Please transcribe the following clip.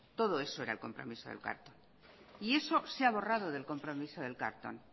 todo eso era el compromiso del carlton y eso se ha borrado del compromiso del carlton